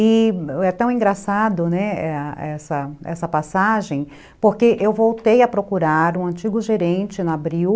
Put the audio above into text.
E é tão engraçado, né, essa passagem, porque eu voltei a procurar um antigo gerente no abril,